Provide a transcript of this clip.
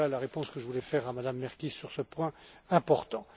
Voilà la réponse que je voulais faire à Mme Merkies sur ce point important.